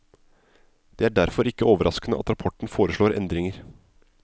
Det er derfor ikke overraskende at rapporten foreslår endringer.